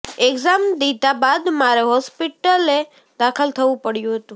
exam દીધા બાદ મારે હોસ્પિટલે દાખલ થવું પડ્યું હતું